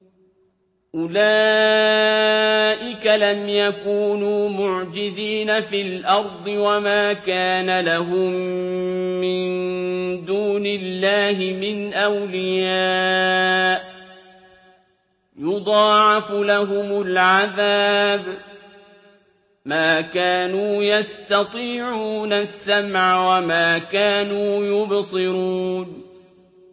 أُولَٰئِكَ لَمْ يَكُونُوا مُعْجِزِينَ فِي الْأَرْضِ وَمَا كَانَ لَهُم مِّن دُونِ اللَّهِ مِنْ أَوْلِيَاءَ ۘ يُضَاعَفُ لَهُمُ الْعَذَابُ ۚ مَا كَانُوا يَسْتَطِيعُونَ السَّمْعَ وَمَا كَانُوا يُبْصِرُونَ